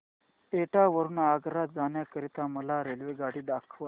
एटा वरून आग्रा जाण्या करीता मला रेल्वेगाडी दाखवा